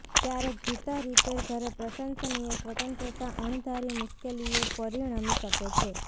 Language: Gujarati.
ક્યારેક જૂતા રિપેર ઘરે પ્રશંસનીય સ્વતંત્રતા અણધારી મુશ્કેલીઓ પરિણમી શકે છે